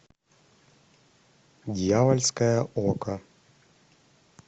дьявольское око